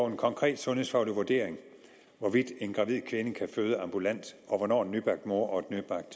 en konkret sundhedsfaglig vurdering hvorvidt en gravid kvinde kan føde ambulant og hvornår en nybagt mor og et